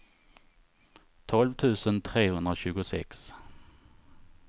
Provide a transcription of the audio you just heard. tolv tusen trehundratjugosex